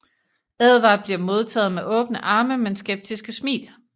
Edward bliver modtaget med åbne arme men skeptiske smil